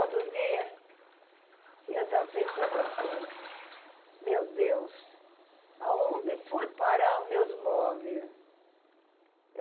Outro dia, eu estava pensando assim, meu Deus, onde foi parar os meus móveis?